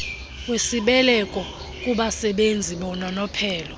wesibeleko kubasebenzi bononophelo